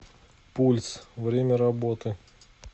пульс время работы